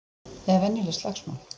Eða venjuleg slagsmál.